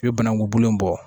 I bɛ banaku bolo in bɔ